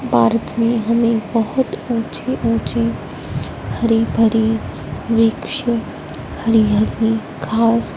park में हमें बहोत ऊंची ऊंची हरी भरी वृक्ष हरि हरि घास--